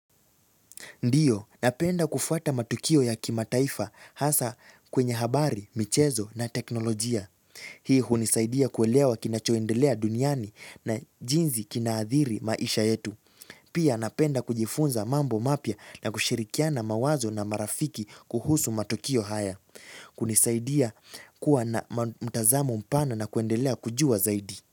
Ndiyo, napenda kufuata matukio ya kimataifa hasa kwenye habari, michezo na teknolojia. Hii hunisaidia kuelewa kinachoendelea duniani na jinsi kinaathiri maisha yetu. Pia napenda kujifunza mambo mapya na kushirikiana mawazo na marafiki kuhusu matukio haya. Kunisaidia kuwa na mtazamo mpana na kuendelea kujua zaidi.